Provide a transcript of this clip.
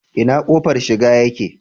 Ina kofar shiga yake?